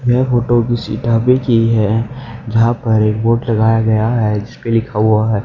यह फोटो किसी ढाबे की है जहां पर एक बोर्ड लगाया गया है जिसपे लिखा हुआ है।